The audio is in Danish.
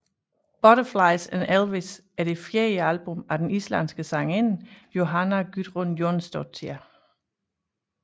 Butterflies And Elvis er det fjerde album af den islandske sangerinde Jóhanna Guðrún Jónsdóttir